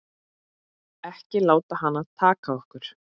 Ekki láta hana taka okkur.